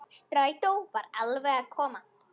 Strætó var alveg að koma.